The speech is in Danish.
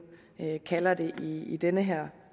kalder det i i den her